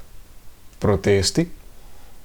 Protesti?